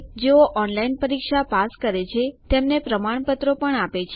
જેઓ ઓનલાઇન પરીક્ષા પાસ કરે છે તેમને પ્રમાણપત્રો આપે છે